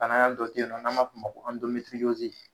Banaa dɔ di yen nɔ n'an b'a fɔ ma ko